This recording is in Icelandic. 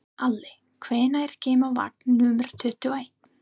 Ali, hvenær kemur vagn númer tuttugu og eitt?